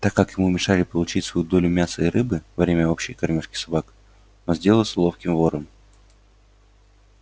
так как ему мешали получать свою долю мяса и рыбы во время общей кормёжки собак он сделался ловким вором